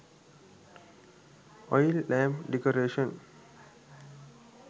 oil lamp decoration